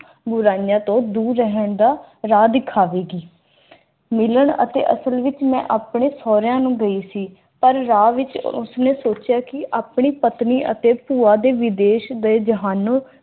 ਬੁਰਾਈਆਂ ਤੋਂ ਦੂਰ ਰਹਿਣ ਦਾ ਰਾਹ ਦਿਖਾਵੇਗੀ ਮਿਲਣ ਅਤੇ ਅਸਲ ਵਿਚ ਮੈਂ ਆਪਣੇ ਸਹੁਰਿਆਂ ਨੂੰ ਗਈ ਸੀ ਉਸ ਨੇ ਸੋਚਿਆ ਕਿ ਆਪਣੀ ਪਤਨੀ ਅਤੇ ਵਿਦੇਸ਼ ਗਏ ਜਹਾਨੋਂ